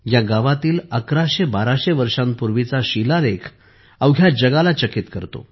या गावातील अकराशे बाराशे वर्षांपूर्वीचा शिलालेख अवघ्या जगाला चकित करतो